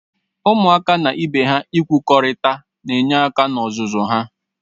Ụmụaka na ibe ha igwukorịta na-enye aka na-ọzụzụ ha.